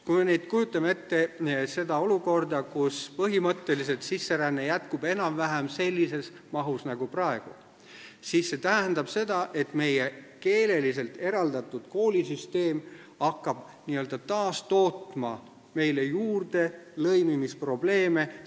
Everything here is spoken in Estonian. Kui me nüüd kujutame ette seda olukorda, kus põhimõtteliselt sisseränne jätkub enam-vähem sellises mahus nagu praegu, siis see tähendab seda, et meie keeleliselt eraldatud koolisüsteem hakkab n-ö taastootma meile juurde lõimimisprobleeme.